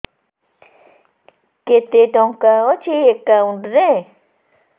କେତେ ଟଙ୍କା ଅଛି ଏକାଉଣ୍ଟ୍ ରେ